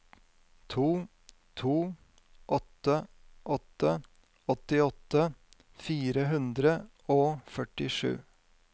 to to åtte åtte åttiåtte fire hundre og førtisju